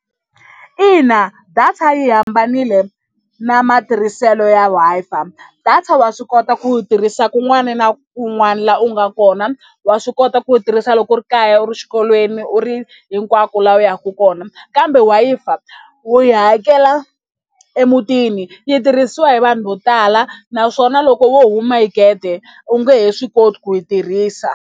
Ina data yi hambanile na matirhiselo ya Wi-Fi data wa swi kota ku yi tirhisa kun'wana na kun'wana laha u nga kona wa swi kota ku yi tirhisa loko u ri kaya u ri exikolweni u ri hinkwako laha u yaka kona kambe Wi-Fi u yi hakela emutini yi tirhisiwa hi vanhu vo tala naswona loko wo huma hi gede u nge he swi koti ku yi tirhisa.